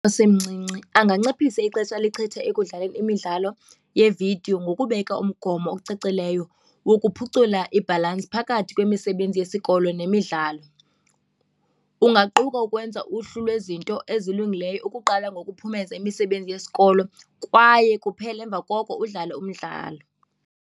osemncinci anganciphisa ixesha alichitha ekudlaleni imidlalo yeevidiyo ngokubeka umgobo ocacileyo wokuphucula ibhalansi phakathi kwemisebenzi yesikolo nemidlalo. Kungaquka ukwenza uhlu lwezinto ezilungileyo ukuqala ngokuphumeza imisebenzi yesikolo kwaye kuphele emva koko udlale umdlalo.